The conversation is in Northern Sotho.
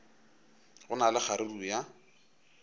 go na le kgaruru ya